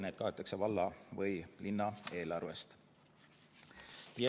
Need kaetakse valla või linna eelarvest.